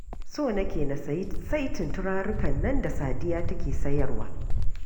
So nake na sayi saitin turarurrukan nan da Sadiya take sayarwa